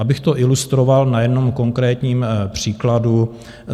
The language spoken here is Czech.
Abych to ilustroval na jednom konkrétním příkladu.